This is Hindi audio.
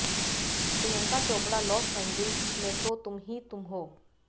प्रियंका चोपड़ा लॉस एंजिल्स में तो तुम ही तुम हो